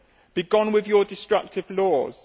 Be gone with your destructive laws.